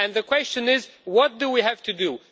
The question is what do we have to do?